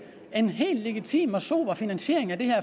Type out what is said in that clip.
en helt legitim og sober finansiering af det her